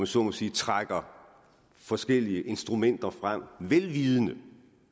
så må sige trækker forskellige instrumenter frem vel vidende